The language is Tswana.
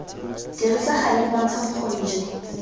dirisa gale bontsha bokgoni jo